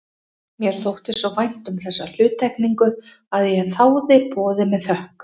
Mér þótti svo vænt um þessa hluttekningu að ég þáði boðið með þökkum.